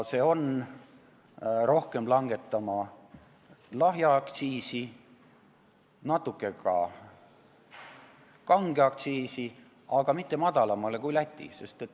Me peame rohkem langetama lahja alkoholi aktsiisi, natuke ka kange alkoholi aktsiisi, aga mitte madalamale kui Lätis.